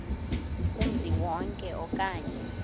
kumzi wonke okanye